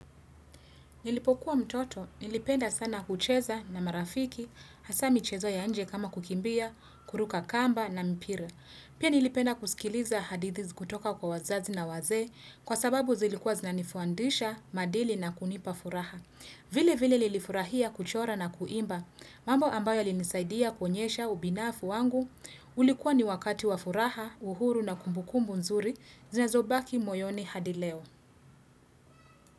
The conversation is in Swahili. Nilipokuwa mtoto, nilipenda sana kucheza na marafiki, hasa michezo ya nje kama kukimbia, kuruka kamba na mpira. Pia nilipenda kusikiliza hadithi kutoka kwa wazazi na wazee, kwa sababu zilikuwa zinani fundisha maadili na kunipa furaha. Vile vile nilifurahia kuchora na kuimba, mambo ambayo yalinisaidia kuonyesha ubinafu wangu, ulikuwa ni wakati wafuraha, uhuru na kumbukumbu nzuri, zinazobaki moyoni hadil eo.